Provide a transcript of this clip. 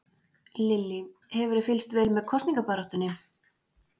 Lillý: Hefurðu fylgst vel með kosningabaráttunni?